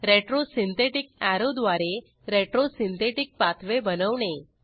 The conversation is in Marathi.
retro सिंथेटिक अॅरो द्वारे retro सिंथेटिक पाथवे बनवणे